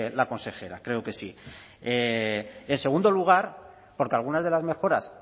la consejera creo que sí y en segundo lugar porque algunas de las mejoras